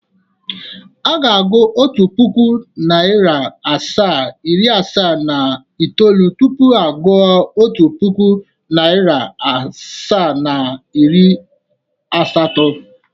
Aga agụụ otu puku, nari asaa, iri asaa na itoolu tupu agu otu puku, nari asaa na iri asatọ.